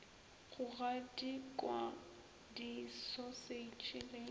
go gadikwa di sausage le